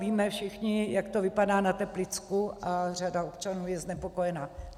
Víme všichni, jak to vypadá na Teplicku, a řada občanů je znepokojena.